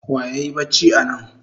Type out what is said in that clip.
Wa yayi bacci anan?